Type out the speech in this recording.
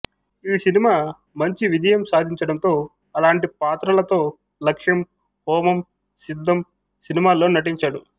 ఈ సినిమా మంచి విజయం సాధించడంతో అలాంటి పాత్రలతో లక్ష్యం హోమం సిద్ధం సినిమాల్లో నటించాడు